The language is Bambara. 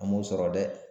An m'o sɔrɔ dɛ